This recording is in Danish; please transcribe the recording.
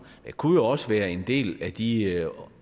det kunne jo også være en del af de